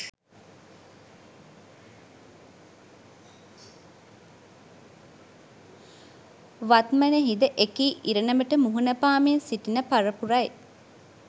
වත්මනෙහි ද එකී ඉරණමට මුහුණ පාමින් සිටින පරපුර යි.